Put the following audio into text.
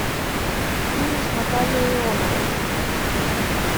фильм с натальей ионовой